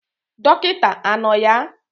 Dokita ano ya?